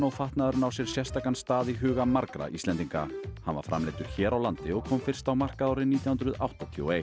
fatnaðurinn á sér sérstakan stað í huga margra Íslendinga hann var framleiddur hér á landi og kom fyrst á markað árið nítján hundruð áttatíu og eitt